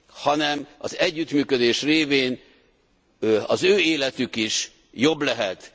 hanem az együttműködés révén az ő életük is jobb lehet.